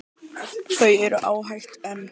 Þau eru ágæt en.